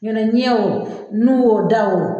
Ɲɔn tɛ ɲɛ o, nu o ,da o